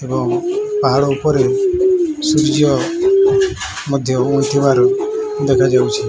ଆଉ ପାହାଡ ଉପରେ ସୂର୍ଯ୍ୟ ଉଇଁ ଥିବାର ମଧ୍ୟ ଦେଖା ଯାଉଛି।